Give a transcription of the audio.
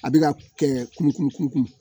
A bɛ ka kunkun kunn kun